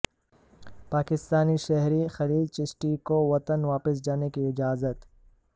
پاکستانی شہری خلیل چشتی کو وطن واپس جانے کی اجازت